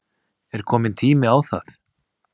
Er kominn tími á það?